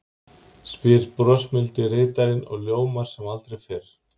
spyr brosmildi ritarinn og ljómar sem aldrei fyrr.